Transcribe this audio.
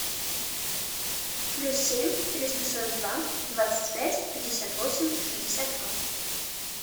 плюс семь триста сорок два двадцать пять пятьдесят восемь шестьдесят два